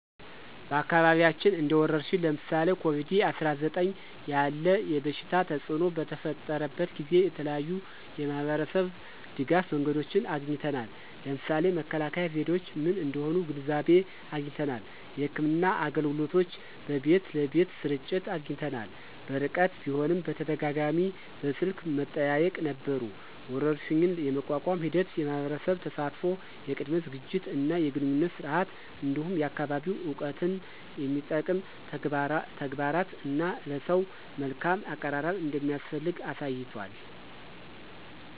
በአካባቢያችን እንደ ወረርሽኝ (ለምሳሌ ኮቪድ-19) ያለ የበሽታ ተፅእኖ በተፈጠረበት ጊዜ የተለያዩ የማህበረሰብ ድጋፍ መንገዶችን አግኝተናል። ለምሳሌ መከላከያ ዘዴዎች ምን እንደሆኑ ግንዛቤ አግኝተናል። የሕክምና አገልግሎቶች በቤት ለቤት ስርጭት አግኝተናል። በርቀት ቢሆንም በተደጋጋሚ በስልክ መጠያየቅ ነበሩ። ወረርሽኝን የመቋቋም ሂደት የማህበረሰብ ተሳትፎ፣ የቅድመ ዝግጅት እና የግንኙነት ስርዓት፣ እንዲሁም የአካባቢ እውቀትን የሚጠቅም ተግባራት እና ለሰው መልካም አቀራረብ እንደሚያስፈልግ አሳይቷል።